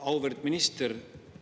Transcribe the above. Auväärt minister!